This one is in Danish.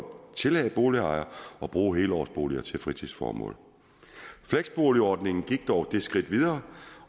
tillade boligejere at bruge helårsboliger til fritidsformål fleksboligordningen gik dog et skridt videre